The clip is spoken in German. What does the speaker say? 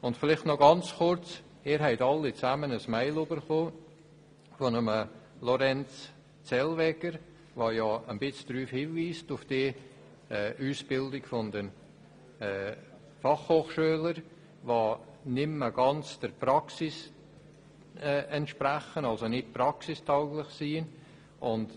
Vielleicht noch ganz kurz: Sie haben alle eine E-Mail von Lorenz Zellweger erhalten, der die Ausbildung der Fachhochschüler als nicht praxistauglich bezeichnet.